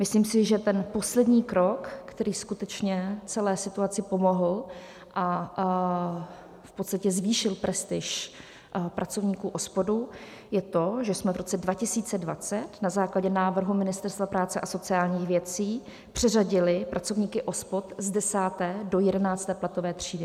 Myslím si, že ten poslední krok, který skutečně celé situaci pomohl a v podstatě zvýšil prestiž pracovníků OSPOD, je to, že jsme v roce 2020 na základě návrhu Ministerstva práce a sociálních věcí přeřadili pracovníky OSPOD z 10. do 11. platové třídy.